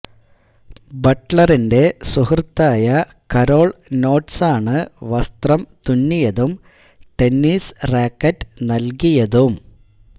ബട്ട്ലറിന്റെ സുഹൃത്തായ കരോൾ നോട്ട്സാണ് വസ്ത്രം തുന്നിയതും ടെന്നിസ് റാക്കറ്റ് നൽകിയതും